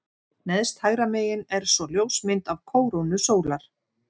Neðst hægra megin er svo ljósmynd af kórónu sólar.